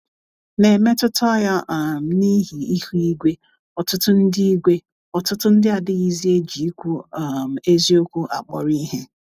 N’emetụta ya um n'ihi ihụ igwe, ọtụtụ ndị igwe, ọtụtụ ndị adịghịzi eji ikwu um eziokwu akpọrọ ihe.